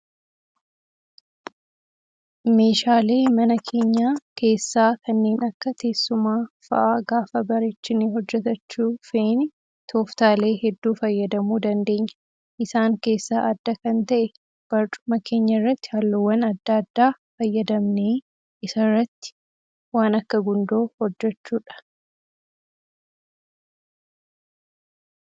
Meeshaalee mana keenya keessaa kanneen akka teessumaa fa'aa gaafa bareechinee hojjatachuu feene tooftaalee hedduu fayyadamuu dandeenya. Isaan keessaa adda kan ta'e barcuma keenyarratti halluuwwan adda addaa fayyadamnee isarratti waan akka gundoo hojjachuudha.